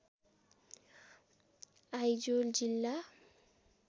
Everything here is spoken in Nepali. आइजोल जिल्ला